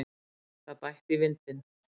Það bætti í vindinn.